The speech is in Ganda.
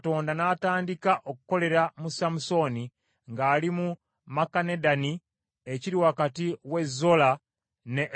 Omwoyo wa Mukama Katonda n’atandika okukolera mu Samusooni ng’ali mu Makanedani ekiri wakati w’e Zola ne Esutaoli.